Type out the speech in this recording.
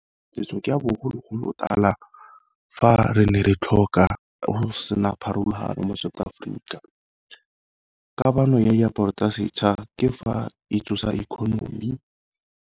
Setso ke a bogologolotala fa re ne re tlhoka go sena pharologano mo South Africa, kamano ya diaparo tsa setšha ke fa e tsosa economy.